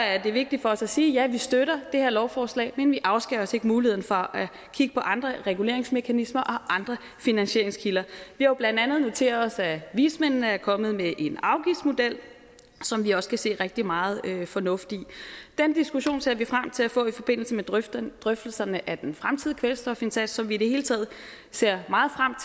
er det vigtigt for os at sige at ja vi støtter det her lovforslag men vi afskærer os ikke muligheden fra at kigge på andre reguleringsmekanismer og andre finansieringskilder vi har blandt andet noteret os at vismændene er kommet med en afgiftsmodel som vi også kan se rigtig meget fornuft i den diskussion ser vi frem til at få i forbindelse med drøftelserne drøftelserne af den fremtidige kvælstofindsats som vi i det hele taget ser meget frem